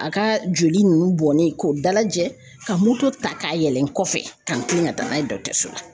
A ka joli ninnu bɔnnen k'o dalajɛ ka moto ta k'a yɛlɛ n kɔfɛ ka n tilen ka taa n'a ye dɔgɔtɔrɔso la .